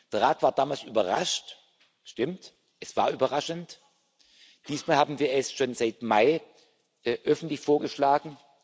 Der Rat war damals überrascht stimmt, es war überraschend diesmal haben wir es schon im Mai öffentlich vorgeschlagen.